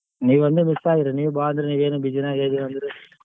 ನೀವೊಂದೆ miss ಆದ್ರಿ ನೀವ್ ಬಾ ಅಂದ್ರಿ ನೀವೇನು busy ನಾಗೇ ಇದಿವಂದ್ರಿ.